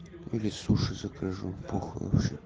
или суши закажу похуй вообще